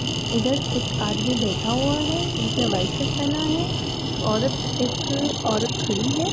इधर एक आदमी बैठा हुआ हैं जिसने वाइट शर्ट पहना हैं। एक औरत एक औरत खड़ी हैं।